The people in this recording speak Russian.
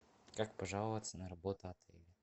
как пожаловаться на работу отеля